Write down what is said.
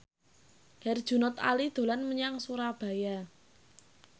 Herjunot Ali dolan menyang Surabaya